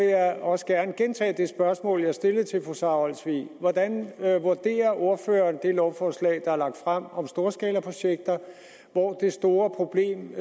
jeg vil også gerne gentage det spørgsmål som jeg stillede til fru sara olsvig hvordan vurderer ordføreren det lovforslag der er lagt frem om storskalaprojekter det store problem